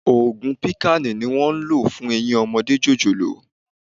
Ògùn píkàànù ni wón ń lò fún Eyín ọmọdé jòjòló.